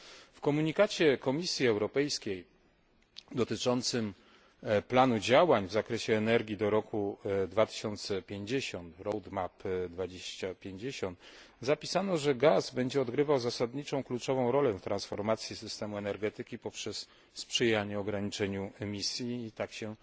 W komunikacie Komisji Europejskiej dotyczącym planu działań w zakresie energii do roku 2050 zapisano, że gaz będzie odgrywał zasadniczą, kluczową rolę w transformacji systemu energetyki poprzez sprzyjanie ograniczeniom emisji, i tak się